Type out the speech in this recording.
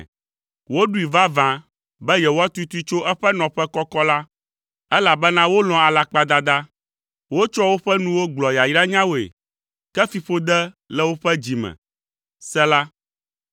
Woɖoe vavã be yewoatutui tso eƒe nɔƒe kɔkɔ la, elabena wolɔ̃a alakpadada. Wotsɔa woƒe nuwo gblɔa yayranyawoe, ke fiƒode le woƒe dzi me. Sela